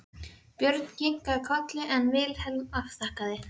Björn kinkaði kolli en Vilhelm afþakkaði.